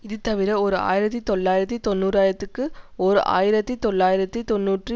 இது தவிர ஓர் ஆயிரத்தி தொள்ளாயிரத்தி தொன்னூராயதிற்கு ஓர் ஆயிரத்தி தொள்ளாயிரத்தி தொன்னூற்றி